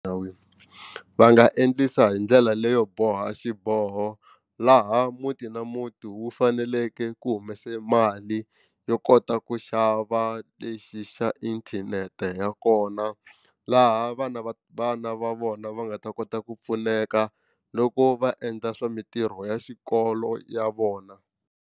va nga endlisa hi ndlela leyo boha xiboho laha muti na muti wu faneleke ku humese mali yo kota ku xava lexi xa xa inthanete ya kona laha vana va vana va vona va nga ta kota ku pfuneka loko va endla swa mitirho ya xikolo ya vona.